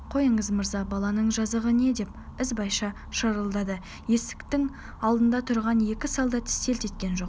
қойыңыз мырза баланың жазығы не деп ізбайша шырылдады есіктің алдында тұрған екі солдат селт еткен жоқ